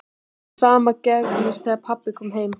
Það sama gerðist þegar pabbi kom heim.